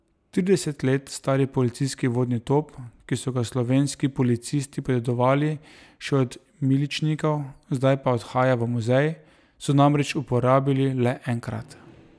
Trideset let stari policijski vodni top, ki so ga slovenski policisti podedovali še od miličnikov, zdaj pa odhaja v muzej, so namreč uporabili le enkrat.